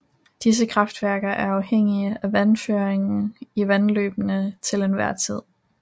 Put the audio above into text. Disse kraftværker er afhængige af vandføringen i vandløbet til enhver tid